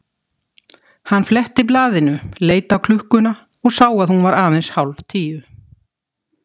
Hann fletti blaðinu, leit á klukkuna og sá að hún var aðeins hálf tíu.